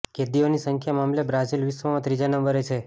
કેદીઓની સંખ્યા મામલે બ્રાઝીલ વિશ્વમાં ત્રીજા નંબરે છે